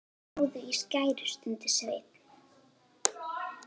Náðu í skæri, stundi Sveinn.